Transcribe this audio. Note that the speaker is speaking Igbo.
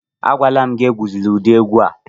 Agwala m gị, egwuzila ụdị egwu a